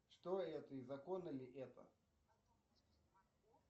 что это и законно ли это